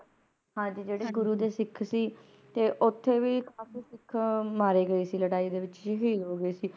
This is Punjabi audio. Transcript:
ਹਾਂਜੀ ਜਿਹੜੇ ਗੁਰੂ ਦੇ ਸਿੱਖ ਸੀ ਤੇ ਓਥੇ ਵੀ ਕਾਫ਼ੀ ਸਿੱਖ ਮਾਰੇ ਗਏ ਸੀ ਲੜਾਈ ਦੇ ਵਿਚ ਸ਼ਹੀਦ ਹੋ ਗਏ ਸੀ